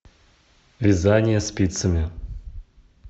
вязание спицами